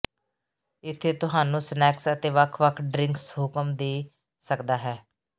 ਇੱਥੇ ਤੁਹਾਨੂੰ ਸਨੈਕਸ ਅਤੇ ਵੱਖ ਵੱਖ ਡਰਿੰਕਸ ਹੁਕਮ ਦੇ ਸਕਦਾ ਹੈ